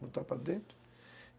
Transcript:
entrar para dentro.